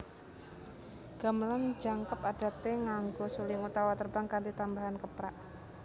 Gamelan jangkep adate nganggo suling utawa terbang kanthi tambahan keprak